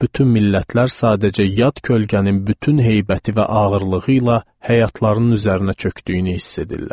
Bütün millətlər sadəcə yad kölgənin bütün heybəti və ağırlığı ilə həyatlarının üzərinə çökdüyünü hiss edirlər.